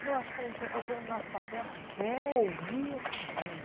Eu acho que como professor o nosso papel é ouvir esse aluno.